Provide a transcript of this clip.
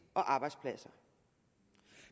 og arbejdspladser